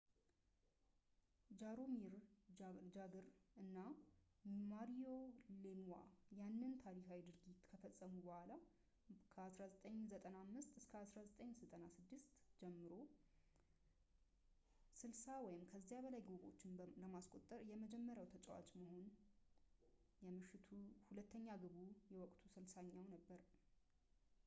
ጃሮሚር ጃግር እና ማሪዮ ሌምዋ ያንን ታሪካዊ ድርጊት ከፈጸሙ በኋላ፣ ከ1995-96 ጀምሮ 60 ወይም ከዚያ በላይ ግቦችን ለማስቆጠር የመጀመሪያው ተጫዋች መሆን፣ የምሽቱ ሁለተኛ ግቡ የወቅቱ 60ኛው ነበር